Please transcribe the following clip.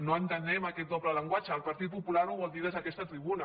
no entenem aquest doble llenguatge el partit popular ho vol dir des d’aquesta tribuna